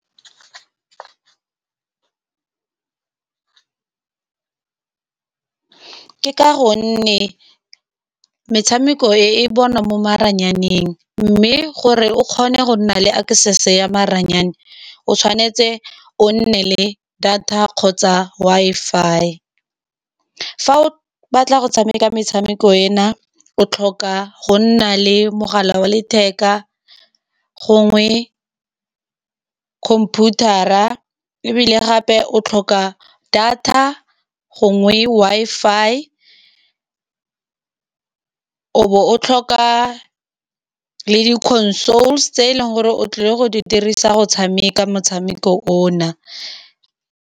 Ke ka gonne metshameko e bonwa mo maranyaneng, mme gore o kgone go nna le access ya maranyane o tshwanetse o nne le data kgotsa Wi-Fi. Fa o batla go tshameka metshameko e na o tlhoka go nna le mogala wa letheka, gongwe computer-a ebile gape o tlhoka data gongwe Wi-Fi, o no tlhoka le di-consoles tse e leng gore o tlile go di dirisa go tshameka motshameko o na.